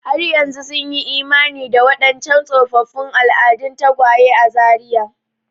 Har yanzu sun yi imani da waɗancan tsofaffin al'adun tagwaye a Zaria.